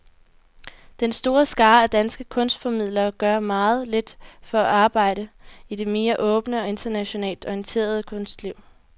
Den store skare af danske kunstformidlere gør meget lidt for at arbejde i det mere åbne og internationalt orienterede kunstliv.